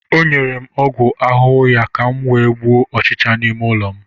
o nyere m ọgwụ ahụhụ ya ka m were gbuo ọchịcha n'ime ụlọ m